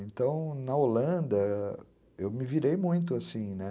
Então, na Holanda, eu me virei muito, assim, né.